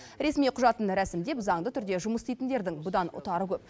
ресми құжатын рәсімдеп заңды түрде жұмыс істейтіндердің бұдан ұтары көп